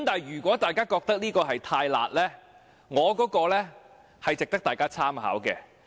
如果大家覺得這項修正案"太辣"，我的修正案值得大家參考。